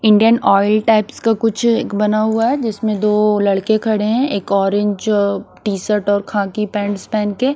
Indian oil types का कुछ एक बना हुआ है जिसमें दो लड़के खड़े है एक ऑरेंज टी शर्ट और खाकी पैंट्स पहन के--